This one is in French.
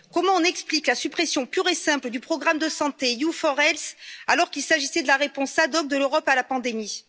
Comment explique t on la suppression pure et simple du programme de santé EU4Health, alors qu'il s'agissait de la réponse ad hoc de l'Europe à la pandémie?